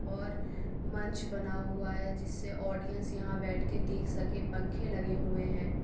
और मंच बना हुआ है जिससे ऑडियंस यहाँ बैठ के देख सके पंखे लगे हुए हैं।